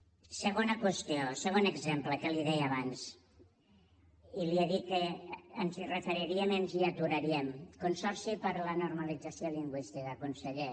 segona qüestió segon exemple que li deia abans i li he dit que ens hi referiríem i ens hi aturaríem consorci per la normalització lingüística conseller